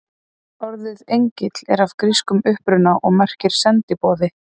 Orðið engill er af grískum uppruna og merkir sendiboði.